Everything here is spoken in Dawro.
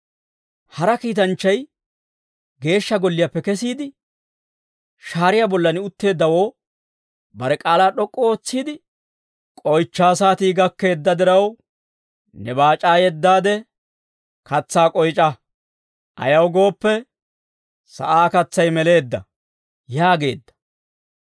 Hara kiitanchchay Geeshsha Golliyaappe kesiide, shaariyaa bollan utteeddawoo bare k'aalaa d'ok'k'u ootsiide, «K'oychchaa saatii gakkeedda diraw, ne baac'aa yeddaade katsaa k'oyc'a; ayaw gooppe, sa'aa katsay meleedda» yaageedda.